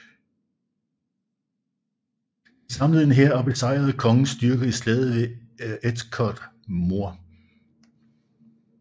De samlede en hær og besejrede kongens styrker i Slaget ved Edgecote Moor